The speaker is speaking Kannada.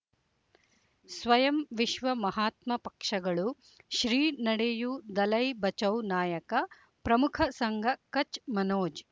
ಸ್ವಯಂ ವಿಶ್ವ ಮಹಾತ್ಮ ಪಕ್ಷಗಳು ಶ್ರೀ ನಡೆಯೂ ದಲೈ ಬಚೌ ನಾಯಕ ಪ್ರಮುಖ ಸಂಘ ಕಚ್ ಮನೋಜ್